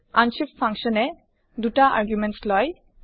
unshift function এ ২ টা arguments লয়